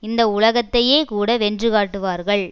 இந்த உலகத்தையேகூட வென்று காட்டுவார்கள்